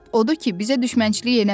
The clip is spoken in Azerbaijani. Odur ki, bizə düşmənçilik eləmə.